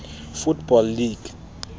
football league